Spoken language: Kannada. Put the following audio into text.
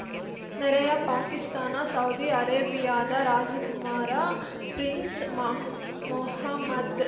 ನೆರೆಯ ಪಾಕಿಸ್ತಾನ ಸೌದಿ ಅರೇಬಿಯಾದ ರಾಜಕುಮಾರ ಪ್ರಿನ್ಸ್‌ ಮೊಹ ಮೊಹಮ್ಮದ್‌